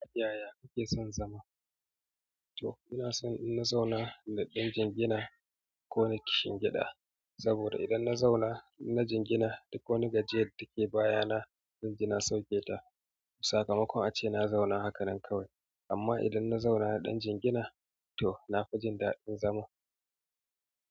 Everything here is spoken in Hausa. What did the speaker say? Yaya kake son zama? Toh ina son in na zauna da ɗan jingina ko ni kishin gida. Saboda idan na zauna ina jingina duk wani gajere take bayana, jingina sauke ta. Sakamako ace na zauna hakanan kawai. Amma idan na zauna da ɗan jingina to na fi jin daɗin zama.